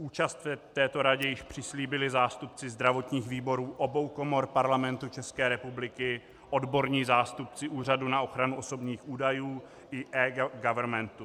Účast v této radě již přislíbili zástupci zdravotních výborů obou komor Parlamentu České republiky, odborní zástupci Úřadu na ochranu osobních údajů i eGovernmentu.